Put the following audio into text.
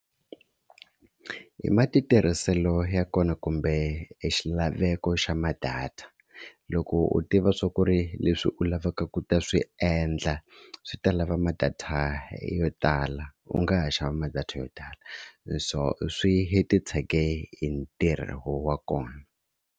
Hi matirhiselo ya kona kumbe e xilaveko xa ma-data loko u tiva swa ku ri leswi u lavaka ku ta swi endla swi ta lava ma-data yo tala u nga ha xava ma-data yo tala so swi titshege hi ntirho wa kona.